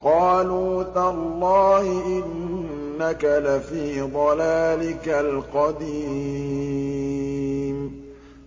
قَالُوا تَاللَّهِ إِنَّكَ لَفِي ضَلَالِكَ الْقَدِيمِ